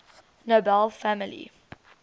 nobel family